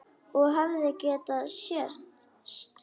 Og hefði getað sést.